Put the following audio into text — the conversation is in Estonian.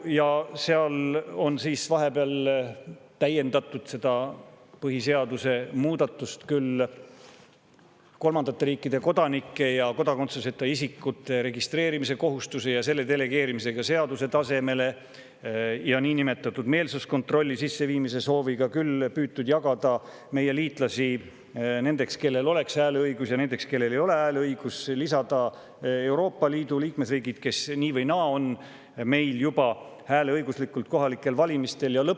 Vahepeal on seda põhiseaduse muudatust kolmandate riikide kodanike ja kodakondsuseta isikute registreerimise kohustusega ja selle delegeerimisega seaduse tasemele, niinimetatud meelsuskontrolli sisseviimise sooviga on püütud jagada meie liitlasi nendeks, kellel oleks hääleõigus, ja nendeks, kellel ei ole hääleõigust, Euroopa Liidu liikmesriigid, nii või naa on meil juba kohalikel valimistel hääleõiguslikud.